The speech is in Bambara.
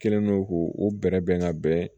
Kɛlen don k'u o bɛ bɛrɛ bɛn ka bɛn